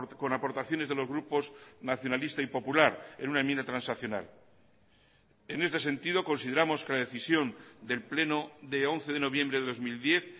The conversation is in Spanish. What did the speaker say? con aportaciones de los grupos nacionalista y popular en una enmienda transaccional en este sentido consideramos que la decisión del pleno de once de noviembre de dos mil diez